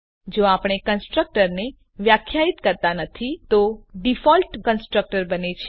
જો આપણે કન્સ્ટ્રક્ટરને વ્યાખ્યાયિત કરતા નથી તો ડીફોલ્ટ કન્સ્ટ્રક્ટર બને છે